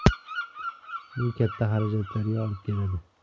Bu katta xarajatlarga olib keladi.